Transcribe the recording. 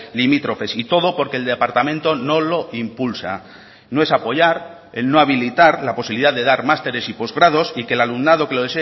limítrofes y todo porque el departamento no lo impulsa no es apoyar el no habilitar la posibilidad de dar másteres y postgrados y que el alumnado que lo